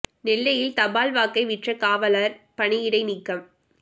நெல்லையில் தபால் வாக்கை விற்ற காவலர் பணியிடை நீக்கம்